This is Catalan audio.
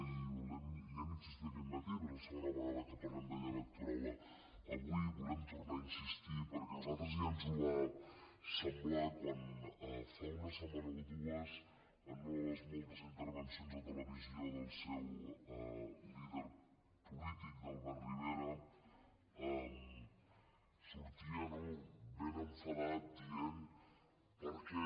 i hi hem insistit aquest matí és la segona vegada que parlem de llei electoral avui hi volem tornar a insistir perquè a nosaltres ja ens ho va semblar quan fa una setmana o dues en una de les moltes intervencions a televisió del seu líder polític d’albert rivera sortia no ben enfadat dient per què